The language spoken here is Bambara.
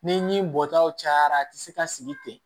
Ni bɔtaw cayara a ti se ka sigi ten